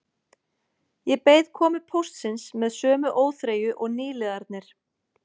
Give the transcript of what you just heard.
Ég beið komu póstsins með sömu óþreyju og nýliðarnir